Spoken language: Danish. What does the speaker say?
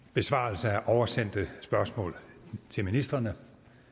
i besvarelse af oversendte spørgsmål til ministrene